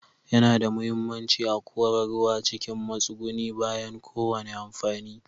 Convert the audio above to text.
Yana da muhimmanci a kora ruwa cikin matsugunni bayan kowane amfani.